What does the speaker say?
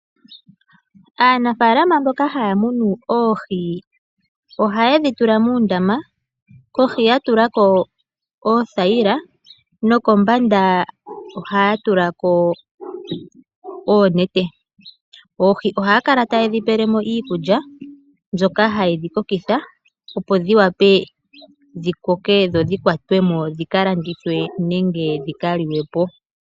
Aanafalama mboka haya munu oohi ohaye dhitula muundama kohi yatulako oo thayila nokombanda ohaya tulako oonete. Oohi ohaya kala taye dhi pelemo iikulya mbyoka hayi dhi kokitha opo dhi wape dhi koke dho dhi kwatemwo dhi kalandithwe nenge dhi ka liwe po.